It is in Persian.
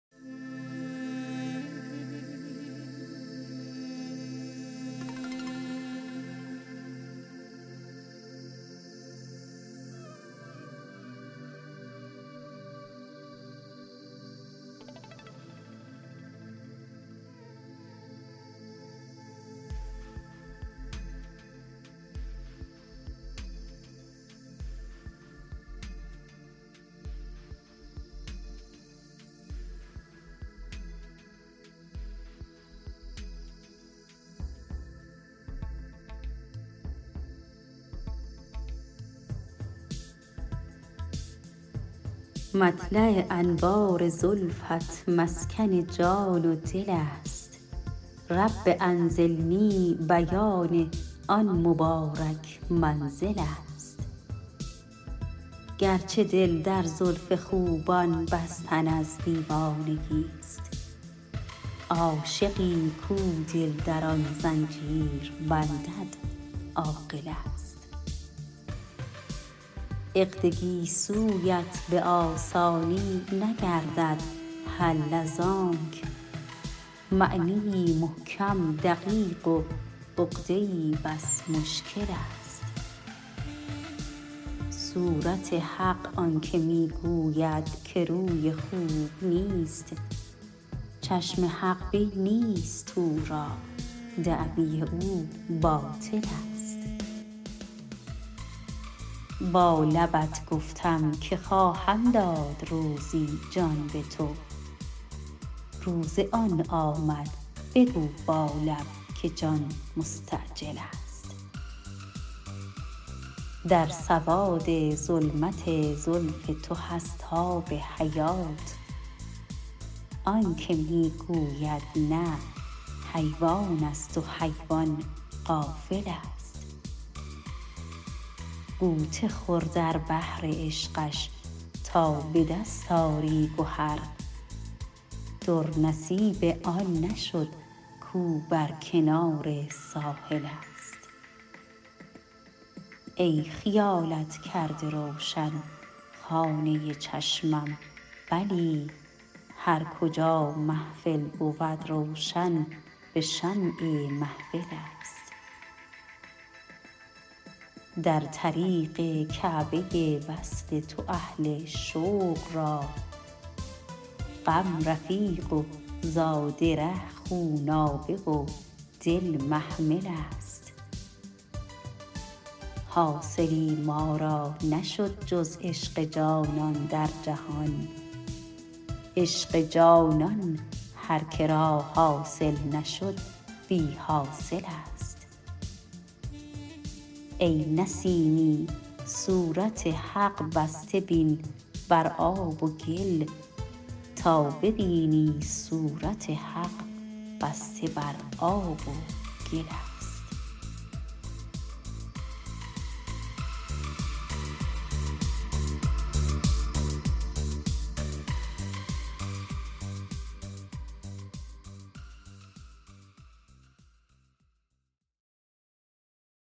مطلع انوار زلفت مسکن جان و دل است رب انزلنی بیان آن مبارک منزل است گرچه دل در زلف خوبان بستن از دیوانگی است عاشقی کو دل در آن زنجیر بندد عاقل است عقد گیسویت به آسانی نگردد حل از آنک معنی ای محکم دقیق و عقده ای بس مشکل است صورت حق آن که می گوید که روی خوب نیست چشم حق بین نیست او را دعوی او باطل است با لبت گفتم که خواهم داد روزی جان به تو روز آن آمد بگو با لب که جان مستعجل است در سواد ظلمت زلف تو هست آب حیات آن که می گوید نه حیوان است و حیوان غافل است غوطه خور در بحر عشقش تا به دست آری گهر در نصیب آن نشد کو بر کنار ساحل است ای خیالت کرده روشن خانه چشمم بلی هرکجا محفل بود روشن به شمع محفل است در طریق کعبه وصل تو اهل شوق را غم رفیق و زاد ره خونابه و دل محمل است حاصلی ما را نشد جز عشق جانان در جهان عشق جانان هر که را حاصل نشد بی حاصل است ای نسیمی صورت حق بسته بین بر آب و گل تا ببینی صورت حق بسته بر آب و گل است